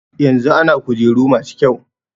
Yanzu ana kujeru masu kyau.